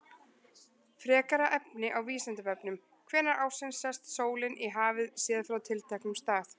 Frekara efni á Vísindavefnum: Hvenær ársins sest sólin í hafið, séð frá tilteknum stað?